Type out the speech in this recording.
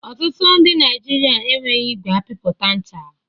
Ọtụtụ ndị Naijiria enweghị igwe apịpụta ncha.